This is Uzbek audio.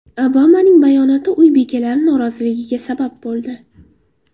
Obamaning bayonoti uy bekalari noroziligiga sabab bo‘ldi.